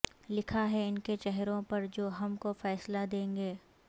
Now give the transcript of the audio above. لکھا ہے ان کے چہروں پر جو ہم کو فیصلہ دیں گے